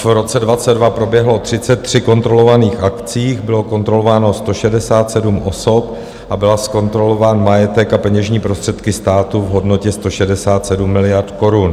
V roce 2022 proběhlo 33 kontrolovaných akcí, bylo kontrolováno 167 osob a byl zkontrolován majetek a peněžní prostředky státu v hodnotě 167 miliard korun.